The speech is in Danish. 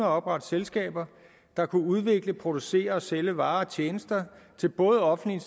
at oprette selskaber der kunne udvikle producere og sælge varer og tjenester til både offentlige